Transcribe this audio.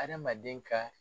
Adamaden ka